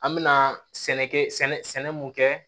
An mɛna sɛnɛkɛ sɛnɛ mun kɛ